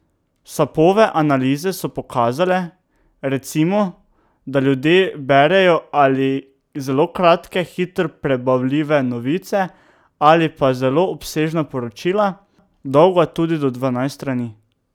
Sapove analize so pokazale, recimo, da ljudje berejo ali zelo kratke, hitro prebavljive novice ali pa zelo obsežna poročila, dolga tudi do dvanajst strani.